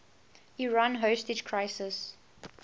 iran hostage crisis